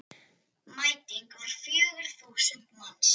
Mæting var fjögur þúsund manns.